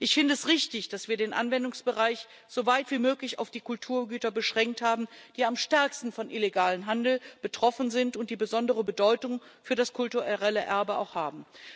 Ich finde es richtig, dass wir den Anwendungsbereich soweit wie möglich auf die Kulturgüter beschränkt haben, die am stärksten von illegalem Handel betroffen sind und die auch besondere Bedeutung für das kulturelle Erbe haben.